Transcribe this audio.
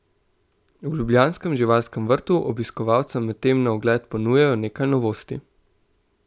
V ljubljanskem živalskem vrtu obiskovalcem medtem na ogled ponujajo nekaj novosti.